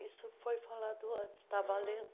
Isso foi falado antes, estava lendo.